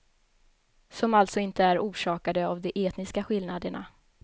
Som alltså inte är orsakade av de etniska skillnaderna.